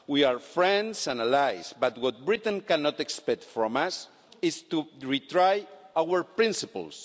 We are friends and allies but what Britain cannot expect from us is to re try our principles.